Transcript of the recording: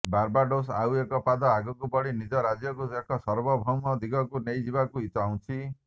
Barbados ଆଉ ଏକ ପାଦ ଆଗକୁ ବଢି ନିଜ ରାଜ୍ୟକୁ ଏକ ସାର୍ବଭୌମ ଦିଗକୁ ନେଇଯିବାକୁ ଚାହୁଁଛି